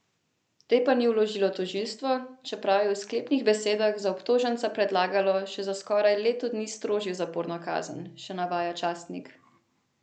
Te pa ni vložilo tožilstvo, čeprav je v sklepnih besedah za obtoženca predlagalo še za skoraj leto dni strožjo zaporno kazen, še navaja časnik.